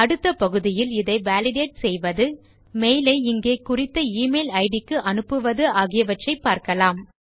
அடுத்த பகுதியில் இதை வாலிடேட் செய்வது மெயில் ஐ இங்கே குறித்த email இட் க்கு அனுப்புவது ஆகியவற்றை பார்க்கலாம்